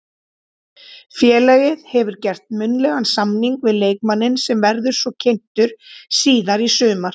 Félagið hefur gert munnlegan samning við leikmanninn sem verður svo kynntur síðar í sumar.